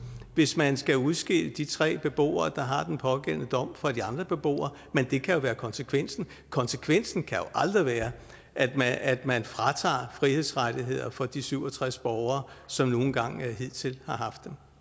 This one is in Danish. hvis man skal udskille de tre beboere der har den pågældende dom fra de andre beboere men det kan jo være konsekvensen konsekvensen kan aldrig være at at man fratager frihedsrettigheder fra de syv og tres borgere som nu engang hidtil har